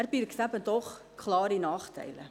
Er birgt eben doch klare Nachteile.